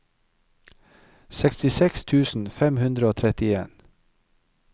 sekstiseks tusen fem hundre og trettien